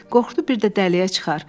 Qorxdu bir də dəliyə çıxar.